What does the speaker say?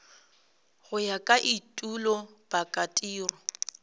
go ya ka etulo pakatiro